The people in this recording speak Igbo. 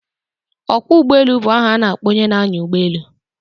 Ọkwọ ụgbọelu bụ aha a na-akpọ onye na-anya ụgbọelu.